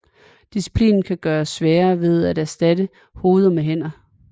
Disciplinen kan gøres sværere ved at erstatte hoveder med hænder